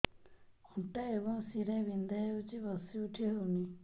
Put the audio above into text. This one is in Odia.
ଅଣ୍ଟା ଏବଂ ଶୀରା ବିନ୍ଧା ହେଉଛି ବସି ଉଠି ହଉନି